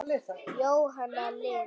Jóhanna Lind.